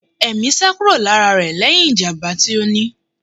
Ẹmi sá kúrò lára rẹ lẹhin ìjàmbá tí ó ní.